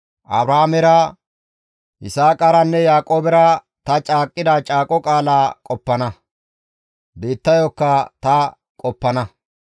Abrahaamera, Yisaaqaranne Yaaqoobera ta caaqqida caaqo qaalaa qoppana; biittayokka ta qoppana.